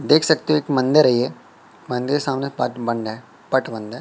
देख सकते हो एक मंदिर है ये मंदिर सामने पत बंड़ है पट बंद है।